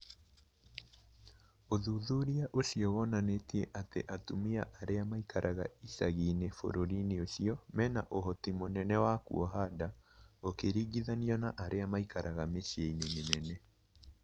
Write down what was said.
ũthuthuria ũcio wonanĩtie atĩ atumia arĩa maikaraga icagi-inĩ bũrũri-inĩ ũcio mena ũhoti mũnene wa kuoha nda gũkĩringithanio na arĩa maikara mĩciĩ-inĩ mĩnene